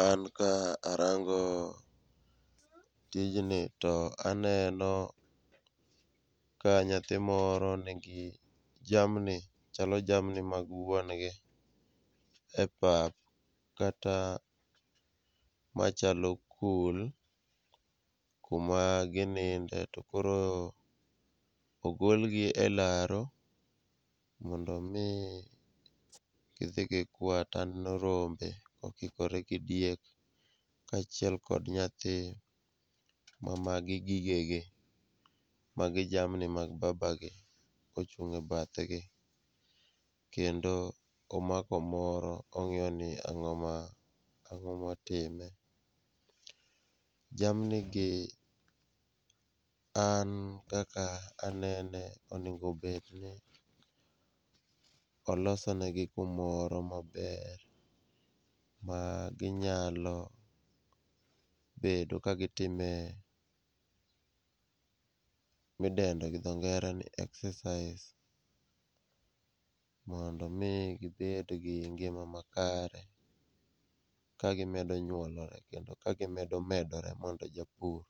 An ka arango tijni, to aneno ka nyathi moro nigi jamni ,chalo jamni mag wuon gi e pap, kata machalo kul, kuma gininde to koro ogolgi e laro mondo omi gidhi gikwa taneno rombe okikore gi diek, kaachiel kod nyathi, ma magi gigege, magi jamni mag babagi ochung' e bathgi, kendo omako moro ong'iyoni ang'o motime. Jamnigi an kaka anene, onego obed ni oloso negi kumoro maber ma ginyalo bedo ka gitime midendo gi dho ngere ni exercise mondo omi gibed gi ngima makare kagimedo nyuolore kendo ka gimedo medore mondo japur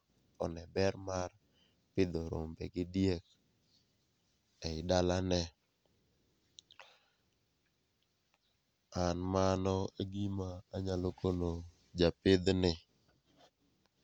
one ber mar pidho rombe gi diek ei dalane. An mano e gima anyalo kono japidhni.